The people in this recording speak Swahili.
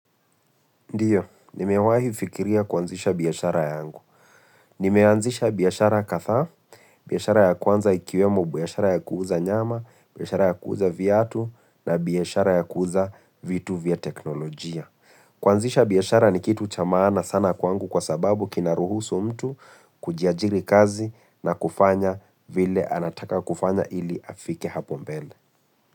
Ndio, nimewahi fikiria kuanzisha biashara yangu. Nimeanzisha biashara kadhaa, biashara ya kwanza ikiwemo biashara ya kuuza nyama, biashara ya kuuza viatu na biashara ya kuuza vitu vya teknolojia. Kuanzisha biashara ni kitu cha maana sana kwangu kwa sababu kinaruhusu mtu kujiajiri kazi na kufanya vile anataka kufanya ili afike hapo mbele.